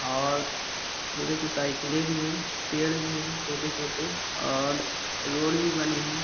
और बोले तो साइकिलें भी हैं पेड़ भी हैं छोटे-छोटे औ--